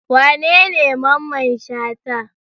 Wanene Mamman Shata?